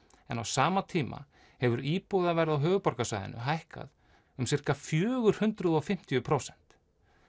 en á sama tíma hefur íbúðaverð á höfuðborgarsvæðinu hækkað um fjögur hundruð og fimmtíu prósent